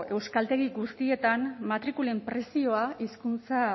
euskaltegi guztietan matrikulen prezioa hizkuntza